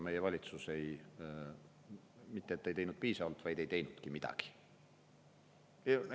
Meie valitsus mitte et ei teinud piisavalt, vaid ei teinud midagi.